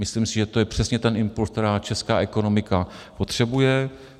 Myslím si, že to je přesně ten impuls, který česká ekonomika potřebuje.